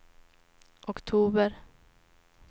oktober